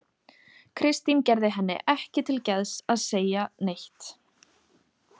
Kristín gerði henni ekki til geðs að segja neitt.